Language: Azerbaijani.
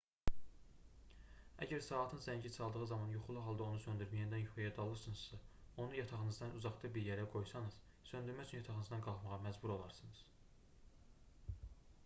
əgər saatın zəngi çaldığı zaman yuxulu halda onu söndürüb yenidən yuxuya dalırsınızsa onu yatağınızdan uzaqda bir yerə qoysanız söndürmək üçün yatağınızdan qalxmağa məcbur olarsınız